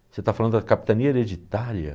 Você está falando da capitania hereditária?